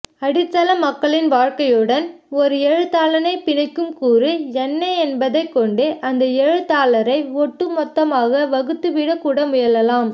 அடித்தள மக்களின் வாழ்க்கையுடன் ஓர் எழுத்தாளனைப்பிணைக்கும் கூறு என்ன என்பதைக்கொண்டு அந்த எழுத்தாளரை ஒட்டுமொத்தமாக வகுத்துவிடக்கூட முயலலாம்